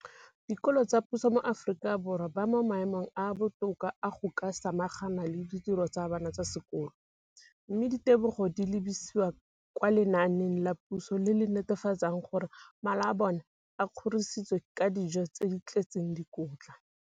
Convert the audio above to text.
Dikolo tsa puso mo Aforika Borwa ba mo maemong a a botoka a go ka samagana le ditiro tsa bona tsa sekolo, mme ditebogo di lebisiwa kwa lenaaneng la puso le le netefatsang gore mala a bona a kgorisitswe ka dijo tse di tletseng dikotla.